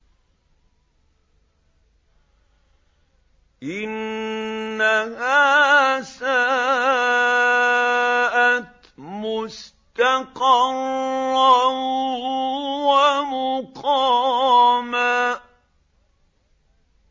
إِنَّهَا سَاءَتْ مُسْتَقَرًّا وَمُقَامًا